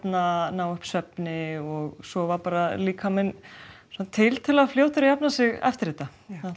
ná upp svefni og sofa líkaminn er tiltölulega fljótur að jafna sig eftir þetta